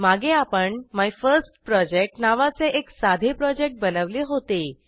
मागे आपण मायफर्स्टप्रोजेक्ट नावाचे एक साधे प्रोजेक्ट बनवले होते